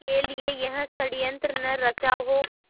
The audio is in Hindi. के लिए यह षड़यंत्र न रचा हो